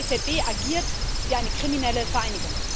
Die EZB agiert wie eine kriminelle Vereinigung.